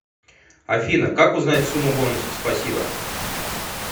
афина как узнать сумму бонусов спасибо